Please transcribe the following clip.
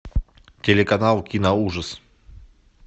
телеканал киноужас